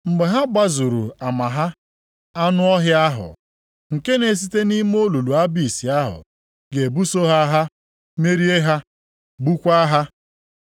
Mgbe ha gbazuru ama ha, anụ ọhịa ahụ, + 11:7 Anụ ọhịa a bụ onye na-emegide Kraịst. nke na-esite nʼime olulu Abis ahụ ga-ebuso ha agha merie ha, gbukwaa ha.